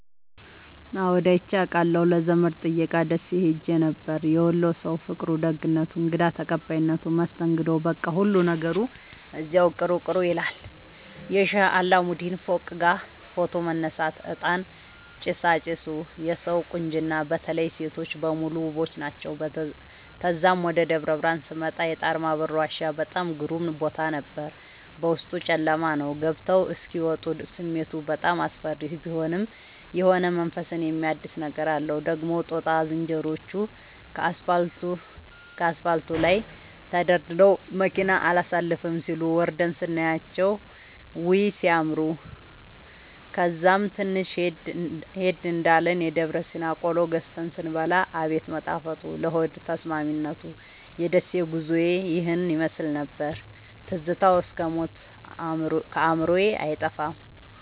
አዎድ አይቼ አቃለሁ ለዘመድ ጥየቃ ደሴ ኸሄ ነበር። የወሎ ሠዉ ፍቅሩ፣ ደግነቱ፣ እንግዳ ተቀባይነቱ መስተንግዶዉ በቃ ሁሉ ነገሩ እዚያዉ ቅሩ ቅሩ ይላል። የሼህ አላሙዲን ፎቅጋ ፎቶ መነሳት፤ እጣን ጭሣጭሡ የሠዉ ቁንጅና በተለይ ሤቶቹ በሙሉ ዉቦች ናቸዉ። ተዛም ወደ ደብረብርሀን ስመጣ የጣርማበር ዋሻ በጣም ግሩም ቦታ ነበር፤ ዉስጡ ጨለማ ነዉ ገብተዉ እስኪ ወጡ ስሜቱ በጣም አስፈሪ ቢሆንም የሆነ መንፈስን የሚያድስ ነገር አለዉ። ደግሞ ጦጣ ዝንሮዎቹ ከአስፓልቱ ላይ ተደርድረዉ መኪና አላሣልፍም ሢሉ፤ ወርደን ስናያቸዉ ዉይ! ሢያምሩ። ከዛም ትንሽ ሄድ እንዳልን የደብረሲና ቆሎ ገዝተን ስንበላ አቤት መጣፈጡ ለሆድ ተስማሚነቱ። የደሴ ጉዞዬ ይህን ይመሥል ነበር። ትዝታዉ እስክ ሞት ከአዕምሮየ አይጠፋም።